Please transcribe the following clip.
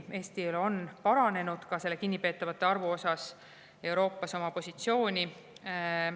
Eesti on siiski kinnipeetavate arvu osas parandanud oma positsiooni Euroopas.